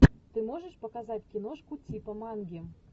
ты можешь показать киношку типа манги